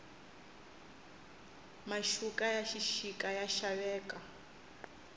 maxuka ya xixika ya xaveka